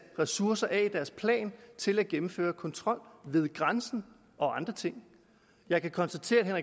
ressourcer af i deres plan til at gennemføre kontrol ved grænsen og andre ting jeg kan konstatere at herre